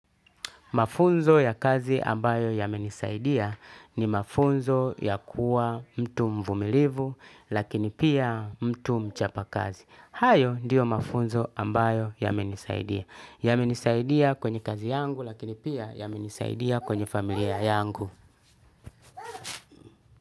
Mafunzo ya kazi ambayo yamenisaidia ni mafunzo ya kuwa mtu mvumilivu lakini pia mtu mchapa kazi. Hayo diyo mafunzo ambayo yamenisaidia. Yamenisaidia kwenye kazi yangu lakini pia yamenisaidia kwenye familia yangu.